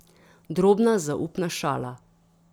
Drobna zaupna šala.